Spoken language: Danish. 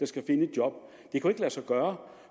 job det kan ikke lade sig gøre